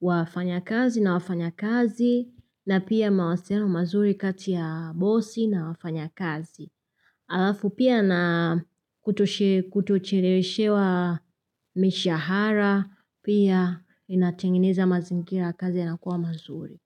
wafanyakazi na wafanyakazi, na pia mawasiliano mazuri kati ya bosi na wafanyakazi. Alafu pia na kutocheleweshewa mishahara, pia inatengineza mazingira ya kazi na kuwa mazuri.